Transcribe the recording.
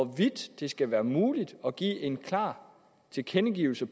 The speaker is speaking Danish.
hvorvidt det skal være muligt at give en klar tilkendegivelse